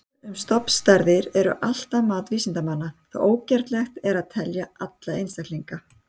Tölur um stofnstærðir eru alltaf mat vísindamanna því ógerlegt er að telja alla einstaklinga.